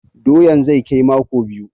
Doyan zai kai mako biyu.